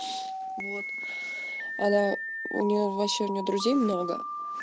вот она у нее ваще у нее друзей много